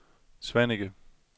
Svaneke